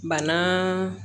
Banaa